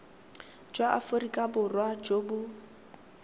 jwa aforika borwa jo bo